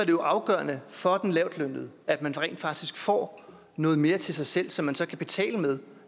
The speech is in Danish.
jo afgørende for den lavtlønnede at man rent faktisk får noget mere til sig selv som man så kan betale med